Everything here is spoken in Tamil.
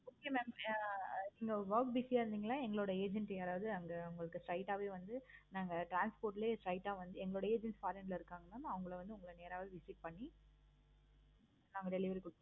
okay mam நீங்க work busy யா இருந்திங்கனா எங்களுடைய agent யாரவது அங்க அவுங்களுக்கு straight ஆஹ் வே வந்து நாங்க transport லவே lite ஆஹ் வந்து எங்களுடைய agent foreign ல இருக்காங்க. அவங்க வந்து உங்கள நேராவே visit பண்ணி நாங்க delivery கொடுப்போம்.